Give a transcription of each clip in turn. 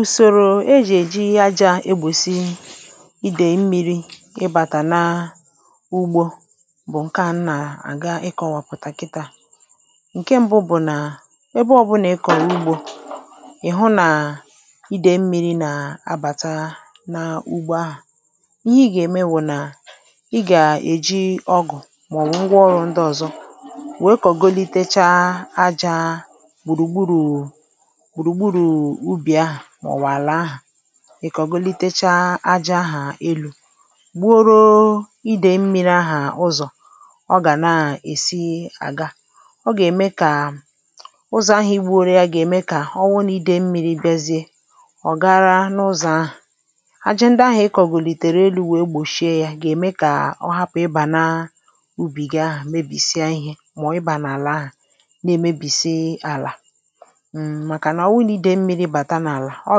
ùsòrò ejì èji aja egbòsi idè mmi̇ri̇ ịbàtà n’ugbȯ bụ̀ ǹkeannú na-àga ikọ̇wàpụ̀tàkịtà ǹke mbụ bụ̀ nà ebe ọ̀bụlà ị kọ̀rọ̀ ugbȯ ị̀ hụ nà idè mmi̇ri̇ nà-abàta n’ugbȯ ahụ̀ n’ihi gà-ème wụ̀ nà ị gà-èji ọgụ̀ màọ̀wụ̀ ngwa ọrụ̇ ndị ọ̀zọ nwèe kà golitacha ajȧ mọ̀wàlà ahụ̀ ì kàọgolitecha aja ahụ̀ elu̇ gbụrụ idè mmi̇ri̇ ahụ̀ ụzọ̀ ọ gà na-èsi àga ọ gà-ème kà ụzọ̀ ahịa igbu̇ ore ya gà-ème kà ọ nwunì idè mmi̇ri̇ bịazie ọ̀ gara n’ụzọ̀ ahụ̀ aja ndị ahụ̀ ị kọ̀gòlìtèrè elu̇ wèe gbòchie ya gà-ème kà ọ hapụ̀ ịbà nà ubì gị ahụ̀ mebìsịa ihė màọ̀ ịbà nà àlà ahụ̀ na-emebìsị àlà ọ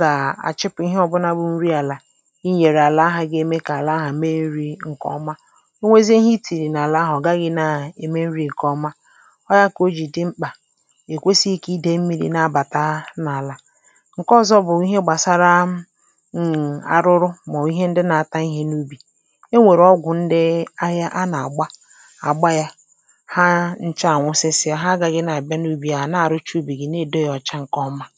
gà-àchịpụ̀ ihe ọ̀bụnȧbu̇ nri àlà inyèrè àlà ahụ̀ gà-eme kà àlà ahụ̀ me nri̇ ǹkèọma onwezie ihe i tìrì n’àlà ahụ̀ gahị̇ na-ème nri̇ ǹkèọma ọ gà-ekȧ ojìdi mkpà èkwesighi kà idė mmiri̇ na-abàta n’àlà ǹke ọ̀zọ bụ̀ ihe gbàsara arụrụ màọ̀bụ̀ ihe ndị nȧ-ata ihe n’ubì e nwèrè ọgwụ̀ ndị ahịa a nà-àgba àgba ya ha nche ànwụsịsịa ha agàghi̇ na-àgbịa n’ubì ya à na-àrụcha ubì gi na-èdo ya ọ̀cha ǹkèọma foto